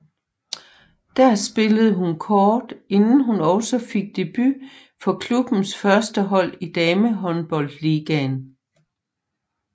Der spillede hun kort inden hun også fik debut for klubbens førstehold i Damehåndboldligaen